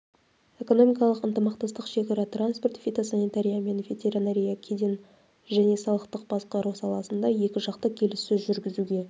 экономикалық ынтымақтастық шекара транспорт фитосанитария мен ветеринария кеден және салықтық басқару саласында екіжақты келіссөз жүргізуге